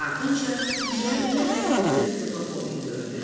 Ardınca İya-iya və Kristofer Robin göründülər.